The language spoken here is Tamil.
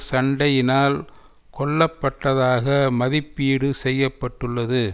சண்டையினால் கொல்ல பட்டதாக மதிப்பீடு செய்ய பட்டுள்ளது